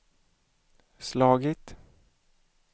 slagit